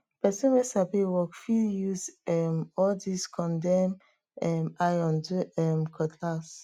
pesin wey sabi work fit use um all dis condemn um iron do um cutlass